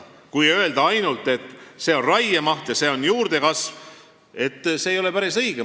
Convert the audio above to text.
Kui öelda ainult, et see on raiemaht ja see on juurdekasv, siis see ei ole päris õige.